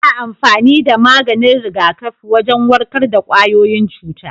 Ana amfani da maganin rigakafi wajen warkar da kwayoyin cuta.